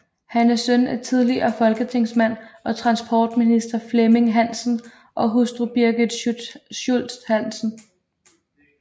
Han er søn af tidligere folketingsmand og transportminister Flemming Hansen og hustru Birgit Schultz Hansen